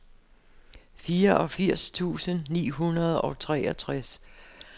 fireogfirs tusind ni hundrede og treogtres